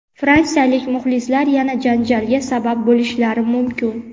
Fransiyalik muxlislar yana janjalga sabab bo‘lishlari mumkin.